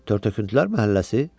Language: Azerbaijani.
Tört-töküntülər məhəlləsi?